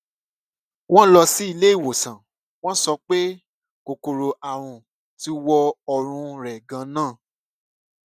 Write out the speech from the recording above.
wọn lọ sí ilé ìwòsàn wọn sọ pé kòkòrò àrùn ti wọ ọrùn rẹ ganan